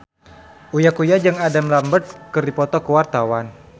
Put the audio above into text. Uya Kuya jeung Adam Lambert keur dipoto ku wartawan